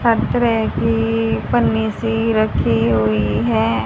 हर तरह की पन्नी सी रखीं हुई हैं।